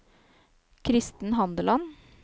Kristen Handeland